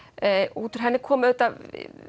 útúr henni kom auðvitað